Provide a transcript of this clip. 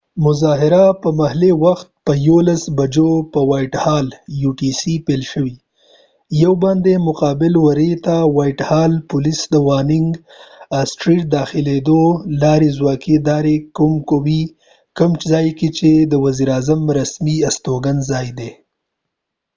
مظاهره په محلي وخت په 11:00 بجو پیل شوه 1+utc په وایټ هال whitehallباندي، مقابل وری ته پولیس د ډاوننګ سټریټ دداخلی لارې ځوکی داری کوي کوم ځای کې چې د وزیر اعظم رسمی استوګن ځای دي